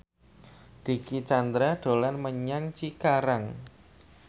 Dicky Chandra dolan menyang Cikarang